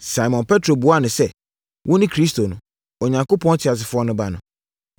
Simon Petro buaa no sɛ, “Wone Kristo no, Onyankopɔn Teasefoɔ no Ba no!”